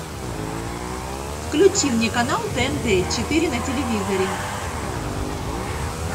включи мне канал тнт четыре на телевизоре